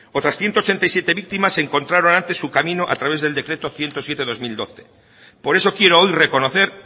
otras ciento ochenta y siete víctimas encontraron antes su camino a través de decreto ciento siete barra dos mil doce por eso quiero hoy reconocer